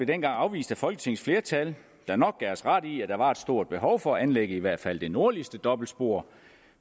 dengang afvist af folketingets flertal der nok gav os ret i at der var et stort behov for at anlægge i hvert fald det nordligste dobbeltspor